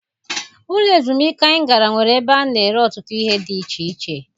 Ụlọ ezumike anyị gara nwere ebe a na-ere ọtụtụ ihe dị iche iche.